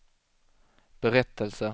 berättelse